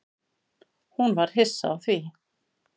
Hún var hissa á því.